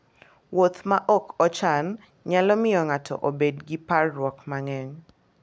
Wuoth ma ok ochan nyalo miyo ng'ato obed gi parruok mang'eny.